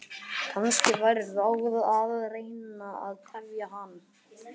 Kannski væri ráð að reyna að tefja hann.